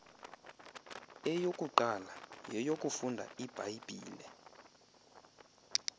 eyokuqala yeyokufunda ibhayibhile